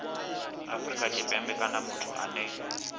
afrika tshipembe kana muthu ane